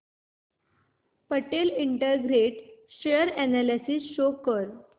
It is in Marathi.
Patel integrate share analysis show कर